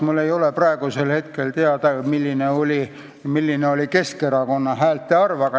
Kõige rohkem sai hääli aga Keskerakond.